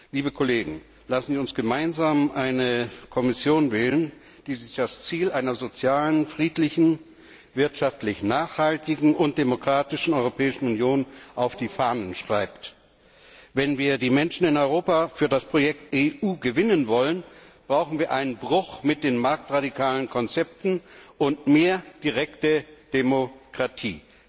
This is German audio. Liebe Kollegen, lassen Sie uns gemeinsam eine Kommission wählen, die sich das Ziel einer sozialen, friedlichen, wirtschaftlich nachhaltigen und demokratischen Europäischen Union auf die Fahnen schreibt! Wenn wir die Menschen in Europa für das Projekt EU gewinnen wollen, brauchen wir einen Bruch mit den marktradikalen Konzepten und mehr direkte Demokratie.